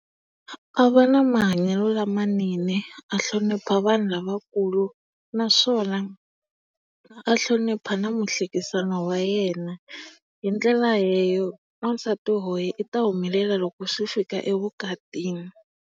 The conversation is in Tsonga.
A va na mahanyelo lamanene, a hlonipha vanhu lavakulu naswona a hlonipha na muhlekisani wa yena hi ndlela wansati loyi u ta humelela loko swi fika evukatini.